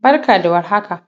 Barka da war haka